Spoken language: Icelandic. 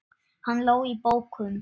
Hann lá í bókum.